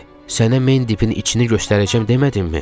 Sənə Mendipin içini göstərəcəm demədimmi?